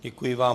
Děkuji vám.